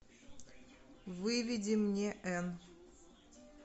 выведи мне н